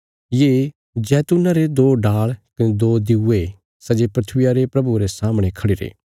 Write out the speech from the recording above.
ये जैतून्ना रे दो डाल़ कने दो दिऊये सै जे धरतिया रे प्रभुये रे सामणे खड़े रैं